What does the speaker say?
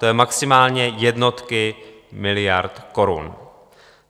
To jsou maximálně jednotky miliard korun.